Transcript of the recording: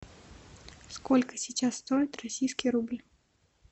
сколько сейчас стоит российский рубль